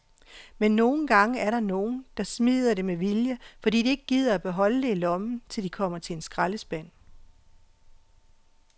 Men nogle gange er der nogen, der smider det med vilje, fordi de ikke gider beholde det i lommen, til de kommer til en skraldespand.